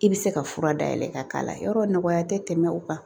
I bɛ se ka fura dayɛlɛ ka k'a la yɔrɔ nɔgɔya tɛ tɛmɛ o kan